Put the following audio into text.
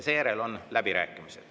Seejärel on läbirääkimised.